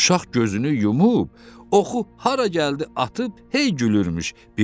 Uşaq gözünü yumub, oxu hara gəldi atıb hey gülürmüş.